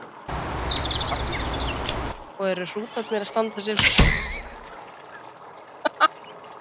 Magnús: Og eru hrútarnir að standa sig vel?